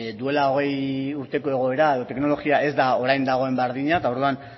duela hogei urteko egoera edo teknologia ez da orain dagoen berdina eta orduan